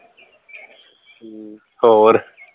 ਹੋਰ